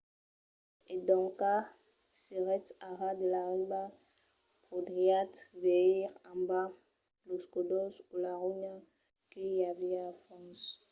e doncas s'èretz a ras de la riba podriatz veire en bas los còdols o la ronha que i aviá al fons